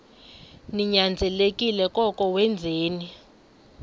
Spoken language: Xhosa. ninyanzelekile koko wenzeni